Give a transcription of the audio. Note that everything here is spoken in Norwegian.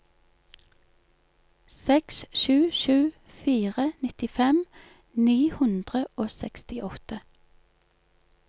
seks sju sju fire nittifem ni hundre og sekstiåtte